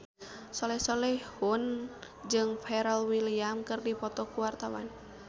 Soleh Solihun jeung Pharrell Williams keur dipoto ku wartawan